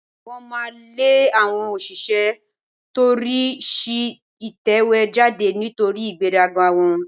Wọ́n máa lé àwọn òṣìṣẹ́ tó rí sí ìtẹ̀wéjáde nítorí ìgbéraga wọn